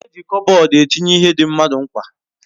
E ji Kopbodu etinye ihe di mmadu mkpa